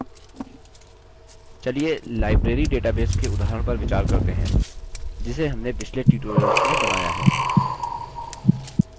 चलिए library database के उदाहरण पर विचार करते हैं जिसे हमने पिछले tutorials में बनाया है